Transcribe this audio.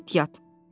Get yat!